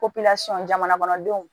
jamana kɔnɔdenw